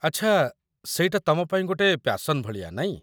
ଆଚ୍ଛା, ସେଇଟା ତମ ପାଇଁ ଗୋଟେ ପ୍ୟାସନ୍ ଭଳିଆ, ନାଇଁ?